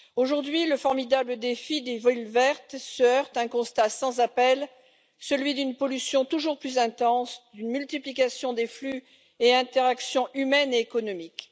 Aujourd'hui, le formidable défi des villes vertes se heurte à un constat sans appel, celui d'une pollution toujours plus intense et d'une multiplication des flux et des interactions humaines et économiques.